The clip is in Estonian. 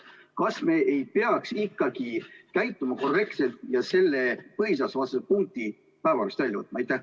Kas me ei peaks ikkagi käituma korrektselt ja selle põhiseadusevastase punkti päevakorrast välja võtma?